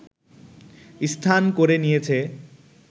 স্থান করে নিয়েছে